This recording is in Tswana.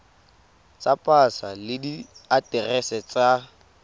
tsa pasa le diaterese tsa